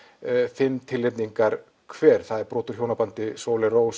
fimm tilnefningar hver það er brot úr hjónabandi Sóley Rós